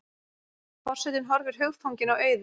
Forsetinn horfir hugfanginn á Auði.